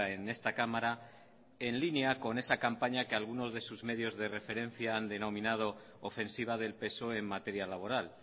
en esta cámara en línea con esa campaña que algunos de sus medios de referencia han denominado ofensiva del psoe en materia laboral